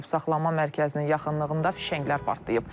Saxlanma mərkəzinin yaxınlığında fişənglər partlayıb.